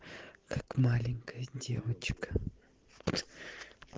как маленькая девочка